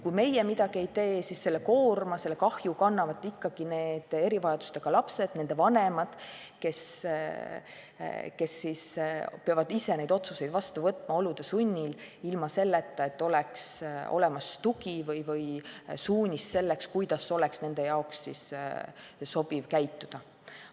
Kui meie midagi ei tee, siis selle koorma, selle kahju kannavad ikkagi erivajadustega lapsed ja nende vanemad, kes peavad olude sunnil ise need otsused vastu võtma, ilma et neil oleks olemas tugi või suunis selleks, kuidas oleks nende jaoks sobiv käituda.